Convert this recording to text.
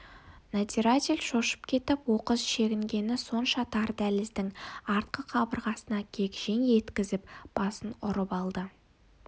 надзиратель шошып кетіп оқыс шегінгені сонша тар дәліздің артқы қабырғасына кегжең еткізіп басын ұрып алды